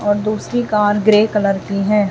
और दूसरी car grey colour की है।